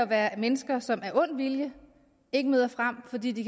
være mennesker som af ond vilje ikke møder frem fordi de